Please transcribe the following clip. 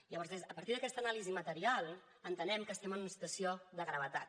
llavors a partir d’aquesta anàlisi material entenem que estem en una situació de gravetat